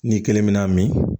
N'i kelen bina min